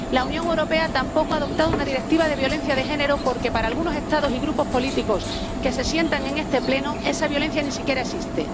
La Unión Europea tampoco ha adoptado una Directiva sobre la violencia de género, porque para algunos Estados y grupos políticos que se sientan en este Pleno esa violencia ni siquiera existe.